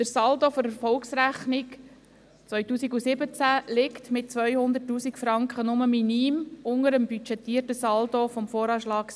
Der Saldo der Erfolgsrechnung 2017 liegt mit 200 000 Franken nur minim unter dem budgetierten Saldo vom VA 2017.